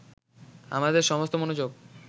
আমাদের সমস্ত মনোযোগ